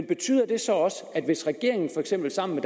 betyder det så også at hvis regeringen for eksempel sammen